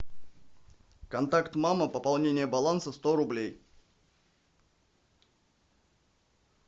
контакт мама пополнение баланса сто рублей